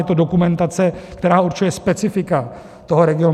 Je to dokumentace, která určuje specifika toho regionu.